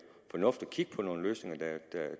fornuftigt at kigge på nogle løsninger der